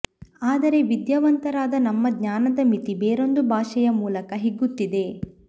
ಆದರೆ ವಿದ್ಯಾವಂತರಾದ ನಮ್ಮ ಜ್ಞಾನದ ಮಿತಿ ಬೇರೊಂದು ಭಾಷೆಯ ಮೂಲಕ ಹಿಗ್ಗುತ್ತಿದೆ